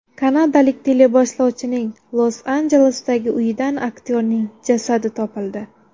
Kanadalik teleboshlovchining Los-Anjelesdagi uyidan aktyorning jasadi topildi.